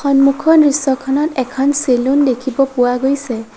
মুখৰ দৃশ্যখনত এখন চেলুন দেখিব পোৱা গৈছে।